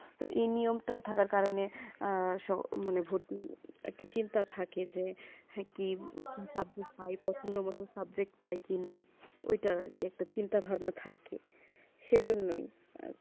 তো এই নিয়ম তা থাকার কারণে সব মানে ভর্তি নিয়ে একটা চিন্তা থাকে যে কি subject প্রায়ই পসন্দ মতুন প্রায়ই subject কি না ঐইটা একটা চিন্তা ভাবনা থাকে সেইম জন্য ই